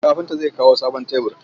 Kafinta zai kawo sabon tebur.